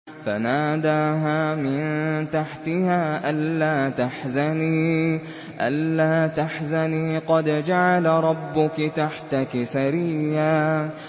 فَنَادَاهَا مِن تَحْتِهَا أَلَّا تَحْزَنِي قَدْ جَعَلَ رَبُّكِ تَحْتَكِ سَرِيًّا